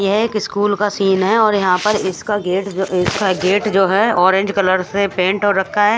यहाँ एक स्कूल का सीन है और यहाँ पर इसका गेट जो है ऑरेंज कलर से पेंट हो रखा है।